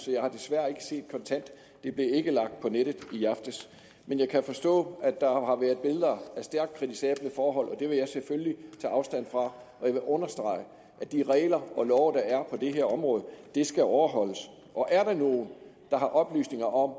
jeg har desværre ikke set kontant det blev ikke lagt på nettet i aftes men jeg kan forstå at der har været billeder af stærkt kritisable forhold og det vil jeg selvfølgelig tage afstand fra og jeg vil understrege at de regler og love der er på det her område skal overholdes og er der nogen der har oplysninger om at